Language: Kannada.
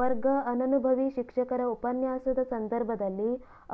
ವರ್ಗ ಅನನುಭವಿ ಶಿಕ್ಷಕ ರ ಉಪನ್ಯಾಸದ ಸಂದರ್ಭದಲ್ಲಿ